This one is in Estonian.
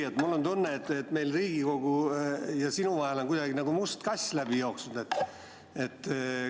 Jüri, mul on tunne, et meil on Riigikogu ja sinu vahelt nagu must kass läbi jooksnud.